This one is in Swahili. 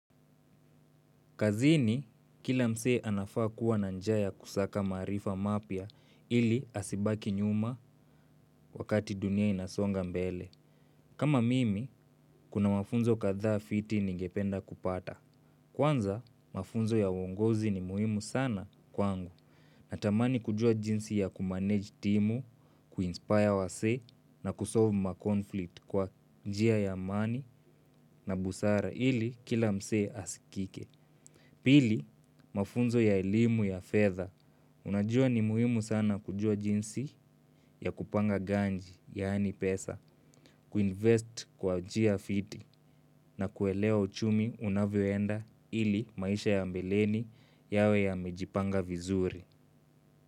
Kazini, kila msee anafaa kuwa na njia ya kusaka maarifa mapya ili asibaki nyuma wakati dunia inasonga mbele. Kama mimi, kuna mafunzo kadha fiti ningependa kupata. Kwanza, mafunzo ya uongozi ni muhimu sana kwangu. Natamani kujua jinsi ya kumanage timu, kuinspire wasee na kusolve mkonflikt kwa njia ya amani na busara ili kila msee asikike. Pili, mafunzo ya elimu ya fedha. Unajua ni muhimu sana kujua jinsi ya kupanga ganji, yani pesa, kuinvest kwa njia fiti na kuelewa uchumi unavyoenda ili maisha ya mbeleni yawe yamejipanga vizuri.